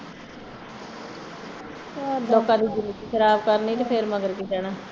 ਲੋਕਾਂ ਦੀ ਜ਼ਿੰਦਗੀ ਖਰਾਬ ਕਰਨੀ ਤੇ ਫਿਰ ਮਗਰ ਕਿ ਰਹਿਣਾ